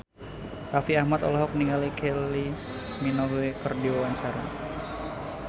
Raffi Ahmad olohok ningali Kylie Minogue keur diwawancara